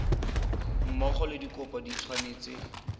mmogo le dikopo di tshwanetse